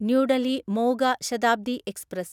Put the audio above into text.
new Delhi Moga Shatabdi express